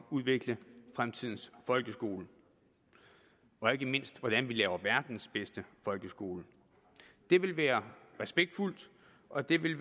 udvikle fremtidens folkeskole og ikke mindst til hvordan vi laver verdens bedste folkeskole det vil være respektfuldt og det vil